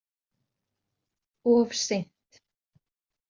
Of seint